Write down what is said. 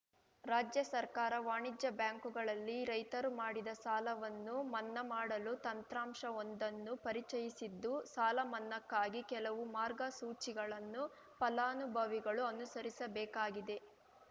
ರಾಜ್ಯ ಸರ್ಕಾರ ವಾಣಿಜ್ಯ ಬ್ಯಾಂಕುಗಳಲ್ಲಿ ರೈತರು ಮಾಡಿದ ಸಾಲವನ್ನು ಮನ್ನಾ ಮಾಡಲು ತಂತ್ರಾಂಶವೊಂದನ್ನು ಪರಿಚಯಿಸಿದ್ದು ಸಾಲ ಮನ್ನಾಕ್ಕಾಗಿ ಕೆಲವು ಮಾರ್ಗಸೂಚಿಗಳನ್ನು ಫಲಾನುಭವಿಗಳು ಅನುಸರಿಸಬೇಕಾಗಿದೆ